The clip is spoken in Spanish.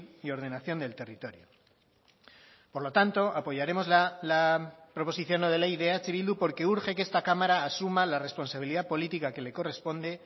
y ordenación del territorio por lo tanto apoyaremos la proposición no de ley de eh bildu porque urge que esta cámara asuma la responsabilidad política que le corresponde